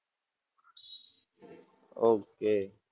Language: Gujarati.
ઓકે,